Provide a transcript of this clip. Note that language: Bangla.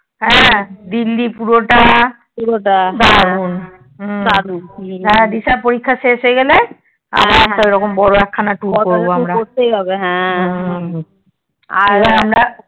হ্যাঁ দিল্লি পুরো তা পুরোটা দারুন হ্যাঁ দিশার পরীক্ষা শেষ হয় গেলে আবার একটা ঐরকম বোরো একটা tour করবো আমরা হম